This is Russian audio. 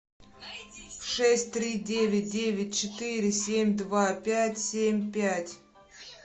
шесть три девять девять четыре семь два пять семь пять